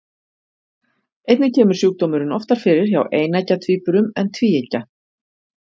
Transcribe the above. Einnig kemur sjúkdómurinn oftar fyrir hjá eineggja tvíburum en tvíeggja.